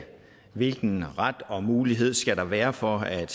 hvilken ret og mulighed skal der være for at